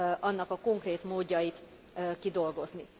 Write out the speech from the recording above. annak a konkrét módjait kidolgozni.